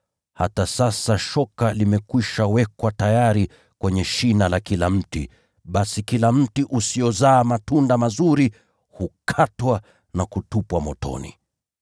Hata sasa shoka limeshawekwa tayari kwenye shina la kila mti. Basi kila mti usiozaa matunda mazuri hukatwa na kutupwa motoni.”